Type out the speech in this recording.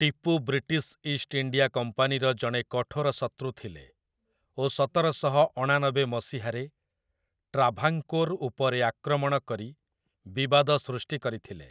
Tipu British East India କମ୍ପାନୀର ଜଣେ କଠୋର ଶତ୍ରୁ ଥିଲେ ଓ ସତର ଶହ ଅଣାନବେ ମସିହାରେ ଟ୍ରାଭାଙ୍କୋର୍ ଉପରେ ଆକ୍ରମଣ କରି ବିବାଦ ସୃଷ୍ଟି କରିଥିଲେ ।